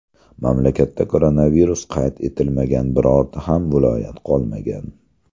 Mamlakatda koronavirus qayd etilmagan birorta ham viloyat qolmagan.